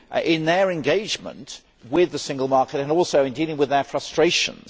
in their engagement with the Single Market and in dealing with their frustrations.